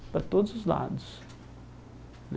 Para todos os lados.